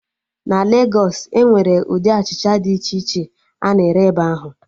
Na Legos, Enwere ụdị achịcha dị iche iche a na-ere ebe ahụ